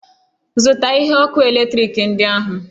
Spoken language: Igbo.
Zụta ihe ọkụ eletrik ndị ahụ!